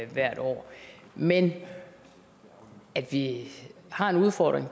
hvert år men at vi har en udfordring